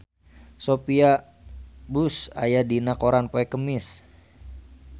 Sophia Bush aya dina koran poe Kemis